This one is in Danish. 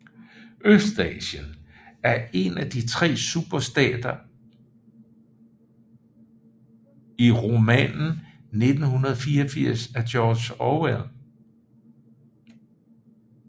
Østasien er en af de tre superstater i romanen 1984 af George Orwell